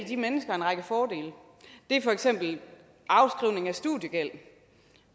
de mennesker en række fordele det er for eksempel afskrivning af studiegæld